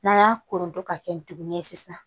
N'an y'a kolonton ka kɛ dugun ye sisan